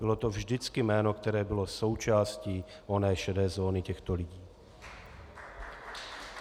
Bylo to vždycky jméno, které bylo součástí oné šedé zóny těchto lidí.